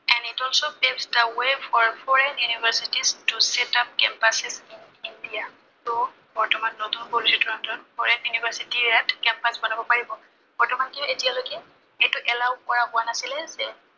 Its also take the way of a foreign university to set up campus in India ত বৰ্তমান নতুন policy টোৰ under ত foreign university য়ে ইয়াত campus বনাব পাৰিব। বৰ্তমানলৈকে এতিয়ালৈকে এইটো allow কৰা হোৱা নাছিলে যে